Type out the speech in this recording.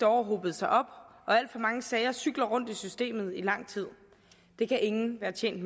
år hobet sig op og alt for mange sager cykler rundt i systemet i lang tid det kan ingen være tjent